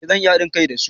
Eh zan iya hadin kai da su